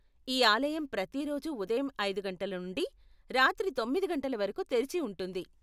ఈ ఆలయం ప్రతి రోజు ఉదయం ఐదు గంటల నుండి రాత్రి తొమ్మిది గంటల వరకు తెరిచి ఉంటుంది.